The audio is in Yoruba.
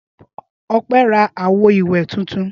Ọpẹ́ ra àwo-ìwẹ̀ tuntun.